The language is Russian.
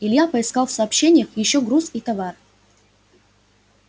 илья поискал в сообщениях ещё груз и товар